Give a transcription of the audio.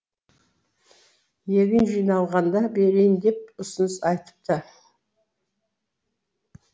егін жиналғанда берейін деп ұсыныс айтыпты